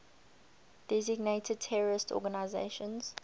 designated terrorist organizations